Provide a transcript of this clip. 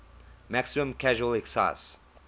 maximum casual excise